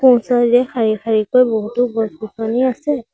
শাৰী শাৰীকৈ বহুতো গছ-গছনি আছে।